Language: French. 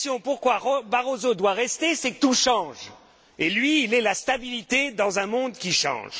raison pour laquelle Barroso doit rester, c'est que tout change, et lui, il est la stabilité dans un monde qui change.